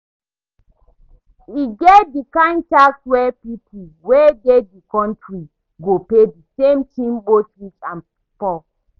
E get di kind tax wey pipo wey dey di country go pay di same thing both rich and poor